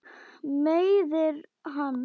Meiðir hann.